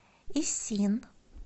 исин